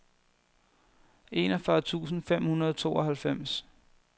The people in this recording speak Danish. enogfyrre tusind fem hundrede og tooghalvfems